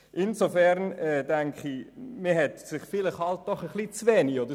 Insofern hat man sich vielleicht etwas zu wenig damit befasst.